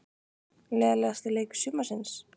Leiðinlegasti leikur sumarsins?